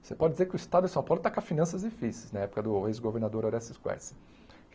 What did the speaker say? Você pode dizer que o Estado de São Paulo está com as finanças difíceis, na época do ex-governador Horácio de Góes